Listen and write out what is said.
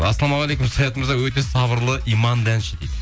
ассалаумағалейкум саят мырза өте сабырлы иманды әнші дейді